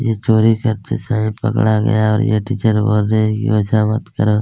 यह चोरी करते समय पकड़ा गया और यह टीचर बोल रही है कि ऐसा मत करो--